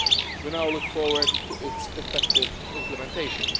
We now look forward to its effective implementation.